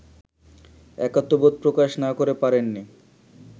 একাত্মবোধ প্রকাশ না করে পারেননি